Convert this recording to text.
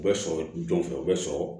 U bɛ sɔrɔ don fɛ u bɛ sɔrɔ